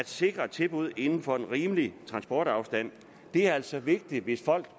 sikrede tilbud inden for en rimelig transportafstand det er altså vigtigt hvis folk